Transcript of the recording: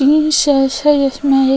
तीन शेष है जिसमें एक --